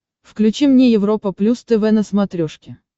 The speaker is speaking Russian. включи мне европа плюс тв на смотрешке